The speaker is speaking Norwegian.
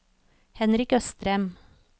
Henrik Østrem